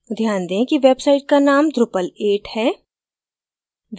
ध्यान दें कि website का name drupal 8 है